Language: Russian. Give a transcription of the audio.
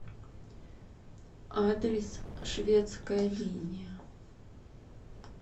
адрес шведская линия